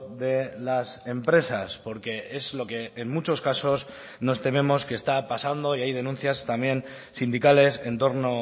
de las empresas porque es lo que en muchos casos nos tememos que está pasando y hay denuncias también sindicales en torno